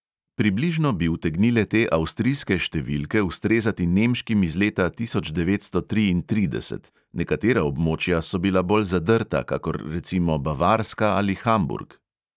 Približno bi utegnile te avstrijske številke ustrezati nemškim iz leta tisoč devetsto triintrideset; nekatera območja so bila bolj zadrta kakor recimo bavarska ali hamburg.